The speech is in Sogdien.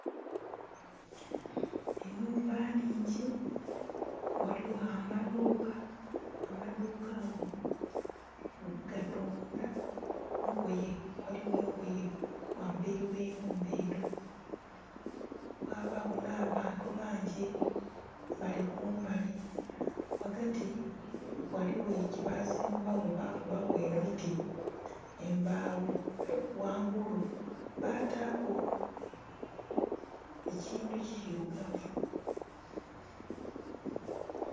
Enhumba nhingi waliwo amaduuka. Amaduuka ago gatunda ngoye, waliwo engoye wamberi gh'enhumba edho. Wabawo na bantu bangi bali kumbali. Wagati waliwo kye bazimbawo bakubaku emiti, embaawo, wangulu bataku ekintu kirugavu